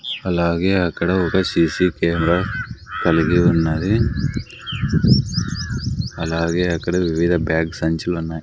అలాగే అక్కడ ఒక సీ సీ కెమెరా కలిగి ఉన్నది అలాగే అక్కడ వివిధ బ్యాగ్ సంచులున్నాయ్.